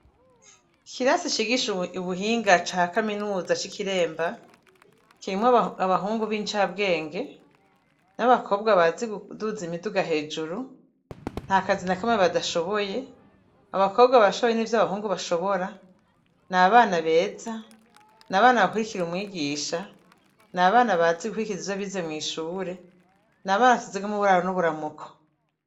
Ikirasi cigisha Ubuhinga ca Kaminuza c'i Kiremba, kirimwo abahungu b'incabwenge, n'abakobwa bazi kuduza imiduga hejuru ; nta kazi na kamwe badashoboye , abakobwa barashoboye nivy'abahungu bashobora , n'abana beza ; n'abana bakurikira umwigisha, n'abana bazi gukurikiza ivyo bize mw'ishure ; n'abana nsize n'uburaro n'uburamuko.